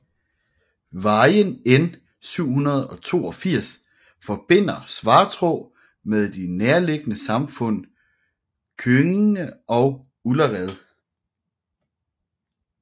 Vejen N 782 forbinder Svartrå med de nærliggende samfund Köinge og Ullared